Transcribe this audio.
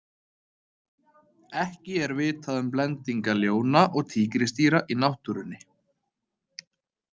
Ekki er vitað um blendinga ljóna og tígrisdýra í náttúrunni.